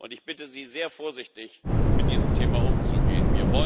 Ich bitte Sie, sehr vorsichtig mit diesem Thema umzugehen.